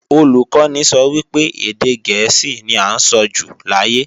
Olùkọ́ni sọ wípé, èdè gẹ̀ẹ́sì ní à ń sọjù láyé